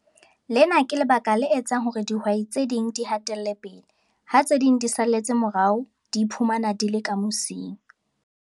Lena ke lebaka le etsang hore dihwai tse ding di hatele pele, ha tse ding di saletse morao, di iphumana di le ka mosing.